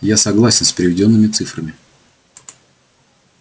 я согласен с приведёнными цифрами